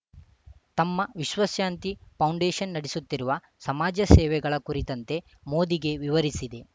ತಮ್ಮ ವಿಶ್ವಶಾಂತಿ ಪೌಂಡೇಶನ್‌ ನಡೆಸುತ್ತಿರುವ ಸಮಾಜ ಸೇವೆಗಳ ಕುರಿತಂತೆ ಮೋದಿಗೆ ವಿವರಿಸಿದೆ